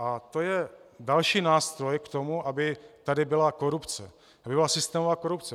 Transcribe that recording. A to je další nástroj k tomu, aby tady byla korupce, aby byla systémová korupce.